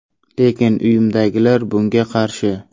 Lekin uyimdagilar bunga qarshi.